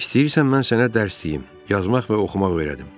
"İstəyirsən mən sənə dərs deyim, yazmaq və oxumaq öyrədim."